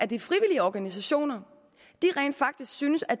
de frivillige organisationer rent faktisk syntes at